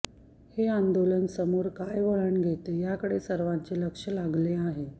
हे आंदोलन समोर काय वळण घेते याकडे सर्वांचे लक्ष लागले आहे